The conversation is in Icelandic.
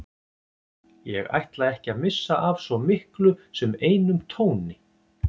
Ég ætla ekki að missa af svo miklu sem einum tóni.